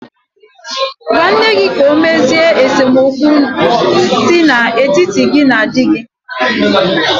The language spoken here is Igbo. Gwa nne gị ka ọ mezie esemokwu si n'etiti gị na di gị.